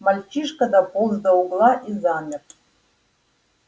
мальчишка дополз до угла и замер